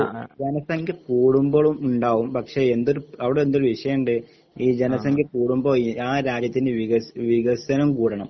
ജോ ജനസംഖ്യകൂടുമ്പോളും ഇണ്ടാവും പക്ഷെ എന്തൊരു അവിടെന്തൊര് വിഷയിൻഡ് ഇ സംഖ്യകൂടുമ്പോ ആ രാജ്യത്തിന്റ വികസ് വികസനം കൂടണം.